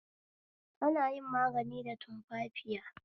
Ana yin magani da tumfafiya